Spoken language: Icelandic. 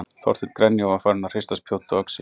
Þorsteinn grenja og var farinn að hrista spjót og öxi.